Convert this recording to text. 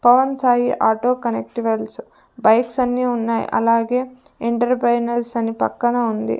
Pawan Sai auto connect wells bikes అన్నీ ఉన్నాయి అలాగే ఎంటర్ప్రైజెస్ అని పక్కన ఉంది.